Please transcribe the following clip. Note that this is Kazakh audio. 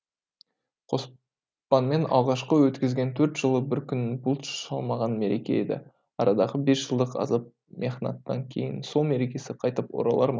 қоспанмен алғашқы өткізген төрт жылы бір күнін бұлт шалмаған мереке еді арадағы бес жылдық азап мехнаттан кейін сол мерекесі қайтып оралар ма